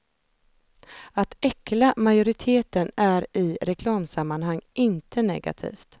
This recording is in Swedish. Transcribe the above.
Att äckla majoriteten är i reklamsammanhang inte negativt.